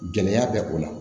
Gɛlɛya bɛ o la